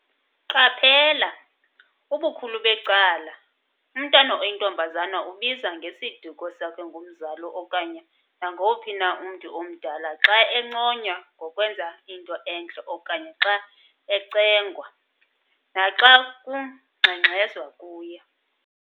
Qaphela!! ubukhulu becala, umntana oyintombazana ubizwa ngesiduko sakhe ngumzali okanye nangowuphi na umntu omdala xa enconywa ngokwenza into entle okanye xa ecengwa, naxa kungxengxezwa kuye.